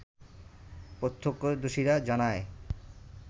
প্রত্যাক্ষদর্শীরা জানায়